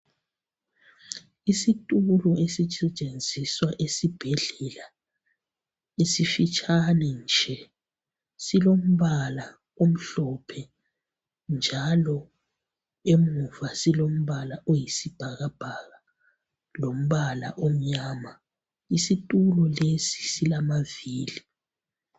Isitulo esisetshenziswa esibhedlela esifitshane nje silombala omhlophe njalo emuva silombala oyisibhakabhaka lombala omnyama isitulo lesi silamavili.